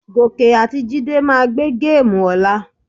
Gòkè àti Jídé máa gbé géèmù ọ̀la.